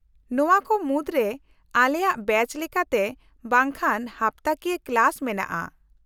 -ᱱᱚᱶᱟ ᱠᱚ ᱢᱩᱫᱨᱮ ᱟᱞᱮᱭᱟᱜ ᱵᱮᱪ ᱞᱮᱠᱟᱛᱮ ᱵᱟᱝᱠᱷᱟᱱ ᱦᱟᱯᱛᱟᱠᱤᱭᱟᱹ ᱠᱞᱟᱥ ᱢᱮᱱᱟᱜᱼᱟ ᱾